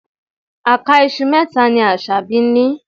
Àká iṣu mẹ́ta ni Asabi ní.